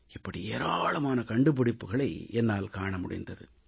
இப்படி ஏராளமான கண்டுபிடிப்புக்களை என்னால் காண முடிந்தது